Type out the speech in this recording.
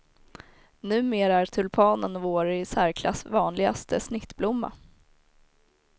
Numera är tulpanen vår i särklass vanligaste snittblomma.